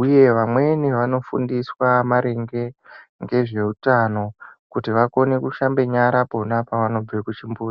uye vamweni vanofundiswa maringe ngezveutano kuti vakone kushambe nyare ponapo pavanobve kuchimbuzi.